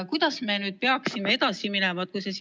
Kuidas me nüüd peaksime edasi minema?